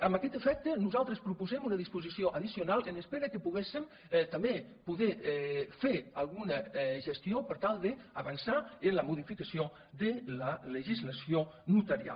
amb aquest efecte nosaltres proposem una disposició addicional en espera que poguéssem també poder fer alguna gestió per tal d’avançar en la modificació de la legislació notarial